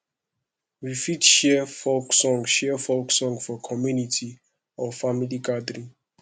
we fit share folk song share folk song for community or family gathering